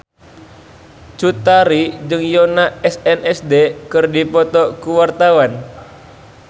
Cut Tari jeung Yoona SNSD keur dipoto ku wartawan